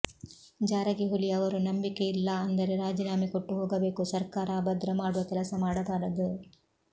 ಜಾರಕಿಹೊಳಿ ಅವರು ನಂಬಿಕೆ ಇಲ್ಲಾ ಅಂದರೆ ರಾಜೀನಾಮೆ ಕೊಟ್ಟು ಹೋಗಬೇಕು ಸರ್ಕಾರ ಅಭದ್ರ ಮಾಡುವ ಕೆಲಸ ಮಾಡಬಾರದು